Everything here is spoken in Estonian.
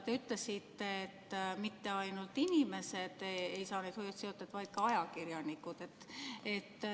Te ütlesite, et mitte ainult inimesed ei saa neid hoiatusteateid, vaid ka ajakirjanikud.